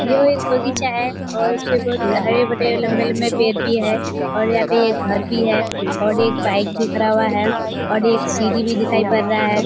यह एक बगीचा है और इस पे बहोत हरे-भरे लंबे-लंबे पेड़ भी है और यहाँ पे एक घर भी है और एक बाइक खड़ा हुआ है और एक सीढी भी दिखाई पर रहा है।